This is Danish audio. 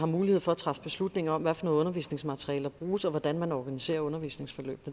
mulighed for at træffe beslutning om hvad for noget undervisningsmateriale der bruges og hvordan man organiserer undervisningsforløb